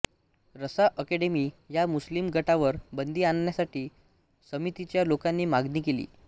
Raza Academy ह्या मुस्लिम गटावर बंदी आणण्यासाठी समितीच्या लोकांनी मागणी केली